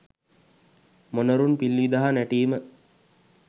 මොණරුන් පිල් විදහා නැටීම.